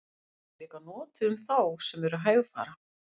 hún er líka notuð um þá sem eru hægfara